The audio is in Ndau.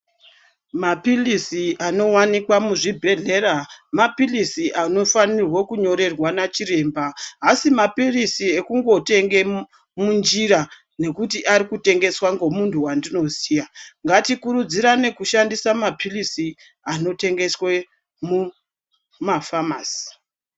Mapilisi anowanikwa muzvibhehlera mapilisi anofanirwa kunyorerwa nachiremba. Haasi mapilisi ekungotenga munjira ngekuti arikutengeswa nemuntu wendinoziya. Ngatikurudzirane kutenga mapilisi anotengeswa mumafamasi.